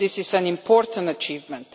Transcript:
This is an important achievement.